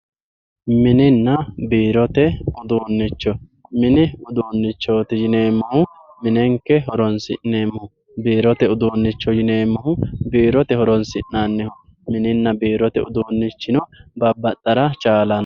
Minena biirote uduunicho mini uduunichoti yinemohu minenke horonsinemoho biirote uduunicho yinemohu biirote horonsinaniho minina biirote udunichino babaxara chaalano.